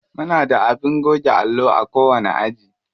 Muna da abin goge allo a kowani aji.